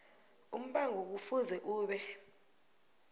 umbango kufuze ube